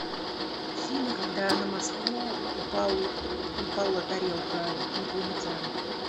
фильм когда на москву упала тарелка инопланетян